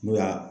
N'o y'a